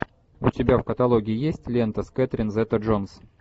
у тебя в каталоге есть лента с кэтрин зета джонс